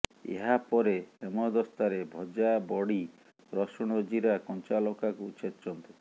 ଏହାପରେ ହେମଦସ୍ତାରେ ଭଜା ବଡି ରସୁଣ ଜିରା କଞ୍ଚାଲଙ୍କାକୁ ଛେଚନ୍ତୁ